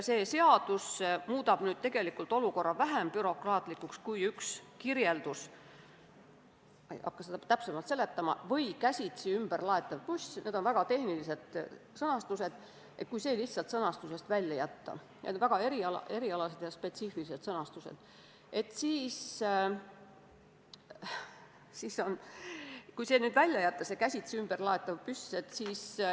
See seadus muudab olukorra tegelikult vähem bürokraatlikuks, kui kirjeldus "või käsitsi ümberlaetav" – ma ei hakka seda täpsemalt seletama, tegemist on väga erialase ja tehnilise sõnastusega – lihtsalt tekstist välja jätta.